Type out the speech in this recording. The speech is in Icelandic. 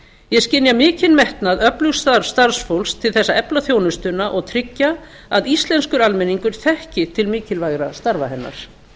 ég skynja mikinn metnað öflugs starfsfólks til þess að efla þjónustuna og tryggja að íslenskur almenningur þekki til mikilvægra starfa hennar